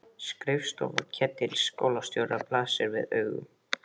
Skrifstofa Ketils skólastjóra blasir við augum.